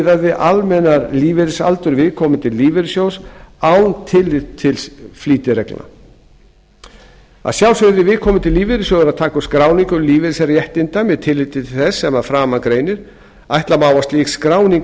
við almennan lífeyrisaldur viðkomandi lífeyrissjóðs án tillits til flýtireglna að sjálfsögðu yrði viðkomandi lífeyrissjóður að taka upp skráningu lífeyrisréttinda með tilliti til þess sem að framan greinir ætla má að slík skráning